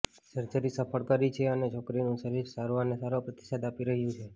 surgery સફળ રહી છે અને છોકરીનું શરીર સારવારને સારો પ્રતિસાદ આપી રહ્યું છે